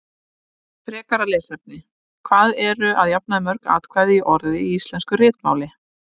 Frekara lesefni: Hvað eru að jafnaði mörg atkvæði í orði í íslensku ritmáli?